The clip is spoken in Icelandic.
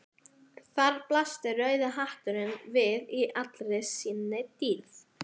Þar blasti rauði hatturinn við í allri sinni dýrð.